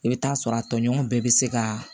I bɛ taa sɔrɔ a tɔɲɔgɔnw bɛɛ bɛ se ka